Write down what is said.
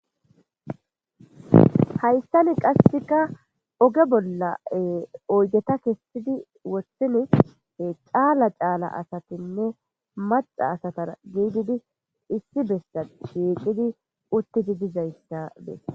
Hayssani qasseka oge bolla oygeta kestidi wossini caala caala asatinne maxa asatar giididi issi bessa shiiqidi uttidi dizayssa dee